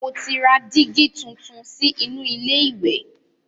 Mo ti ra dígí tuntun sí inú ilé ìwẹ̀.